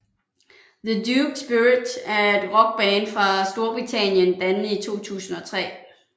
The Duke Spirit er en rockband fra Storbritannien dannet i 2003